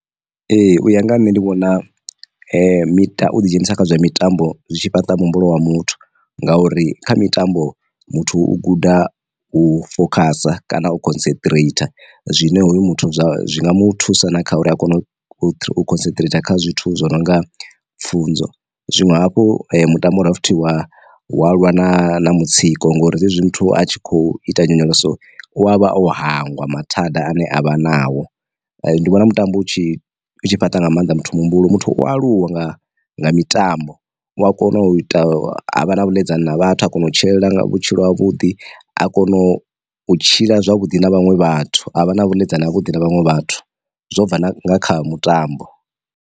Ee u ya nga ha nṋe ndi vhona miṱa u ḓi dzhenisa kha zwa mitambo zwitshi fhaṱa muhumbulo wa muthu ngauri, kha mitambo muthu u guda u fokhasa kana u concentrator zwine hoyu muthu zwa zwi nga mu thusa na kha uri a kone u concentrator kha zwithu zwo no nga pfhunzo. Zwinwe hafhu mutambo wa futhi wa wa lwa na mutsiko ngori zwezwi muthu a tshi kho ita nyonyoloso u avha o hangwa mathada ane avha nao, ndi vhona mutambo u tshi u fhaṱa nga maanḓa muthu muhumbulo muthu u aluwa nga nga mitambo u a kona u ita havha na vhuḽedzani na vhathu a kona u tshila vhutshilo ha vhuḓi a kona u tshila zwavhuḓi na vhaṅwe vhathu a vha na vhuḽedzani ha vhuḓi na vhaṅwe vhathu zwo bva na kha mutambo.